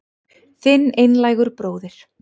Þinn einlægur bróðir